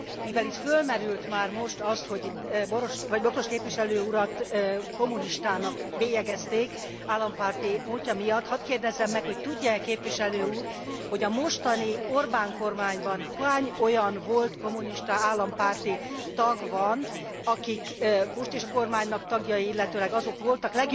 Mivel itt fölmerült már most az, hogy Bokros képviselő urat kommunistának bélyegezték állampárti múltja miatt, hadd kérdezzem meg, hogy tudja e képviselő úr, hogy a mostani Orbán kormányban hány olyan volt kommunista állampárti tag van, akik most is a kormánynak tagjai, illetőleg azok voltak?